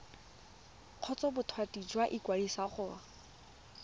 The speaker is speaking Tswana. kgotsa bothati jwa ikwadiso go